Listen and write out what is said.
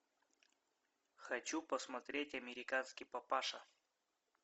хочу посмотреть американский папаша